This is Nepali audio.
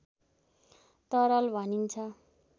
तरल भनिन्छ